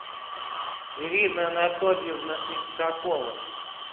ирина анатольевна иншакова